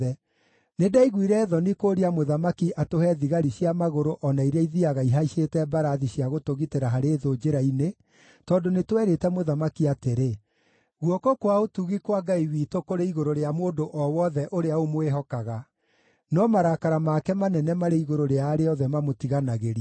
Nĩndaiguire thoni kũũria mũthamaki atũhe thigari cia magũrũ o na iria ithiiaga ihaicĩte mbarathi cia gũtũgitĩra harĩ thũ njĩra-inĩ, tondũ nĩtwerĩte mũthamaki atĩrĩ, “Guoko kwa ũtugi kwa Ngai witũ kũrĩ igũrũ rĩa mũndũ o wothe ũrĩa ũmwĩhokaga, no marakara make manene marĩ igũrũ rĩa arĩa othe mamũtiganagĩria.”